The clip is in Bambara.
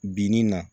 Binni na